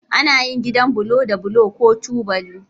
Ana yin gidan bulo da bulo ko tubali.